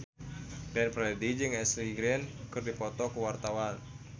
Glenn Fredly jeung Ashley Greene keur dipoto ku wartawan